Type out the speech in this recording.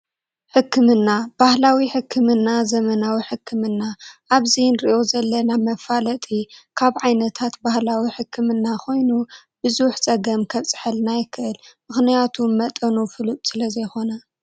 ሕክምና ባህላዊ ሕክምና ዘመናዊ ሕክምና ኣብዚ እንሪኦ ዘለና መፈላጢ ካብ ዓይነት ባህላዊ ሕክምና ኮይኑ ብዙሕ ፀገማት ከብፀሐልና ይክእል ምክንያቱ መጠኑ ፍሉጥ ስለዘይኮነ ።